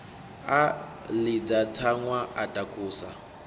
a ḽidza tsaṅwa a takusa